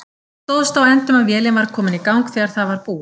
Það stóðst á endum að vélin var komin í gang þegar það var búið.